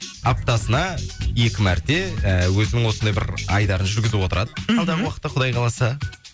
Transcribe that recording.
аптасына екі мәрте і өзінің осылай бір айдарын жүргізіп отырады мхм алдағы уақытта құдай қаласа